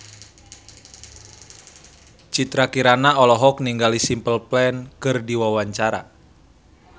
Citra Kirana olohok ningali Simple Plan keur diwawancara